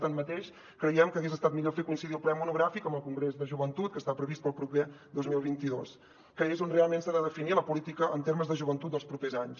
tanmateix creiem que hagués estat millor fer coincidir el ple monogràfic amb el congrés de joventut que està previst per al proper dos mil vint dos que és on realment s’ha de definir la política en termes de joventut dels propers anys